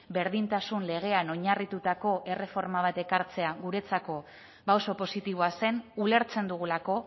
berdintasun legean oinarritutako erreforma bat ekartzea guretzako oso positiboa zen ulertzen dugulako